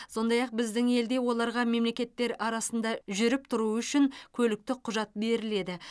сондай ақ біздің елде оларға мемлекеттер арасында жүріп тұруы үшін көліктік құжат беріледі